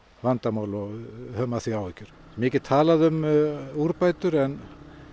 vandamál við höfum af því áhyggjur mikið talað um úrbætur en